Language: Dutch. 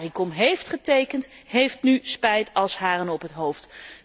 Caricom heeft getekend en heeft nu spijt als haren op het hoofd.